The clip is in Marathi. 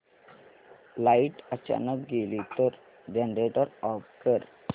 लाइट अचानक गेली तर जनरेटर ऑफ कर